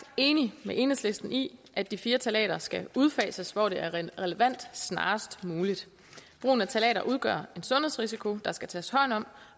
enig med enhedslisten i at de fire ftalater skal udfases hvor det er relevant snarest muligt brugen af ftalater udgør en sundhedsrisiko der skal tages hånd om